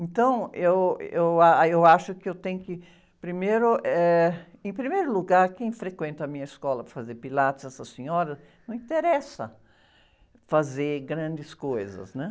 Então, eu, eu a, eu acho que eu tenho que... Primeiro, eh, em primeiro lugar, quem frequenta a minha escola para fazer Pilates, essas senhoras, não interessa fazer grandes coisas, né?